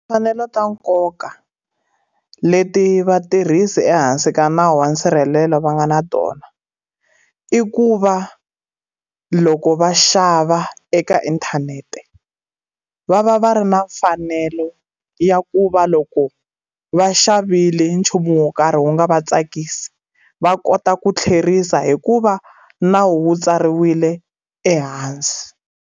Timfanelo ta nkoka, leti vatirhisi ehansi ka nawu wa nsirhelelo va nga na tona. I ku va loko va xava eka inthanete, va va va ri na mfanelo ya ku va loko va xavile nchumu wo karhi wu nga va tsakisi, va kota ku tlherisa hi ku va na wu tsariwile ehansi.